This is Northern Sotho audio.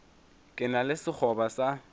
ke na le sekgoba sa